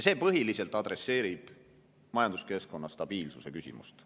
See põhiliselt adresseerib majanduskeskkonna stabiilsuse küsimust.